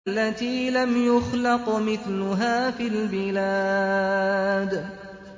الَّتِي لَمْ يُخْلَقْ مِثْلُهَا فِي الْبِلَادِ